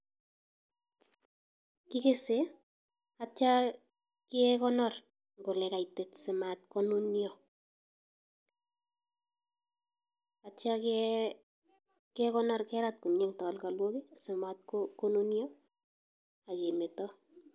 KIkese aitya kekonor ole kaitit simanunyo akerat komye en talkalwok simatkonunyo akemeto.